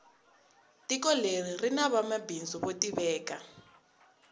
tiko leri rini vanwa mabindzu vo tiveka